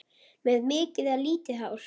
Með mikið eða lítið hár?